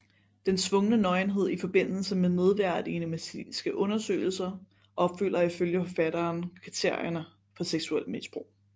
Den tvungne nøgenhed i forbindelse med nedværdigende medicinske undersøgelser opfylder ifølge forfatteren kriterierne for seksuelt misbrug